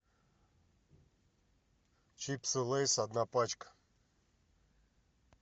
чипсы лейс одна пачка